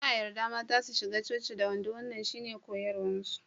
Ba a yarda mata su shiga coci da wando wannan shine koyarwarsu.